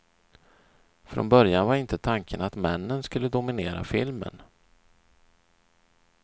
Från början var inte tanken att männen skulle dominera filmen.